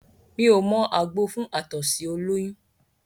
Mí ò mọ àgbo fún àtọ̀sí ọlọ́yún